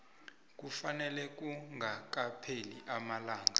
kufanele kungakapheli amalanga